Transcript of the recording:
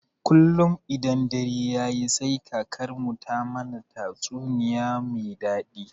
Kullun idan dare yayi sai kakarmu ta mana tatsuniya me daɗi.